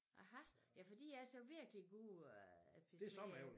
Aha ja for de altså virkelig gode øh Per Smed æbler